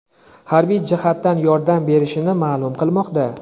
harbiy jihatdan yordam bershini ma’lum qilmoqda.